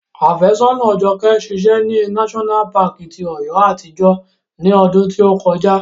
Afésọ́nàa Jọkẹ́ ṣiṣẹ́ ní náṣọ́nà paàkì ti Ọ̀yọ́ àtijọ́ ní ọdún tí ó kọjá